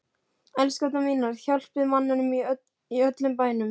ELSKURNAR MÍNAR, HJÁLPIÐ MANNINUM Í ÖLLUM BÆNUM!